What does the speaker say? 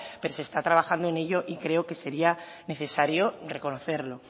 pero se está trabajando en ello y creo que sería necesario reconocerlo